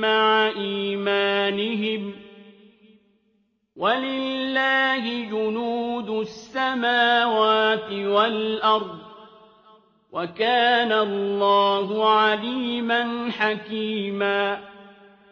مَّعَ إِيمَانِهِمْ ۗ وَلِلَّهِ جُنُودُ السَّمَاوَاتِ وَالْأَرْضِ ۚ وَكَانَ اللَّهُ عَلِيمًا حَكِيمًا